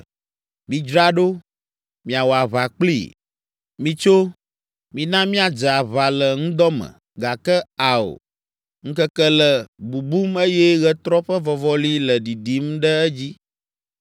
“Midzra ɖo, miawɔ aʋa kplii! Mitso, mina míadze aʋa le ŋdɔ me, gake ao, ŋkeke le bubum eye ɣetrɔ ƒe vɔvɔli le ɖiɖim ɖe edzi.